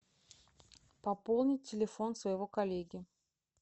пополнить телефон своего коллеги